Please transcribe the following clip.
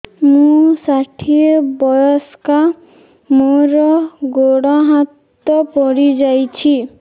ମୁଁ ଷାଠିଏ ବୟସ୍କା ମୋର ଗୋଡ ହାତ ପଡିଯାଇଛି